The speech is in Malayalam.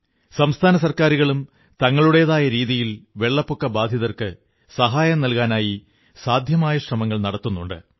സംസ്ഥാന സർക്കാരുകളും തങ്ങളുടേതായ രീതിയിൽ വെള്ളപ്പൊക്കബാധിതർക്ക് സഹായം നല്കാനായി സാദ്ധ്യമായ ശ്രമങ്ങൾ നടത്തുന്നുണ്ട്